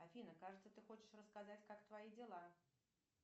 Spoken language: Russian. афина кажется ты хочешь рассказать как твои дела